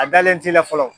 A dalen t'i la fɔlɔ